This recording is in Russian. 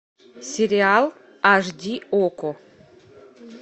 сериал аш ди окко